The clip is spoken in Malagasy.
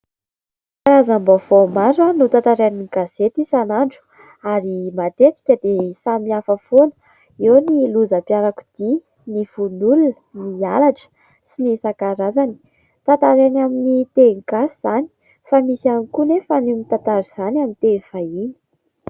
Karazam-baovao maro no tantarain'ny gazety isan'andro ary matetika dia samy hafa foana. Eo ny lozam-piarakodia, ny vono olona, ny halatra sy ny isan-karazany. Tantarainy amin'ny teny gasy izany fa misy ihany koa anefa ny mitantara izany amin'ny teny vahiny.